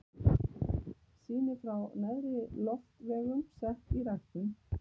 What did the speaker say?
Sýni frá neðri loftvegum sett í ræktun.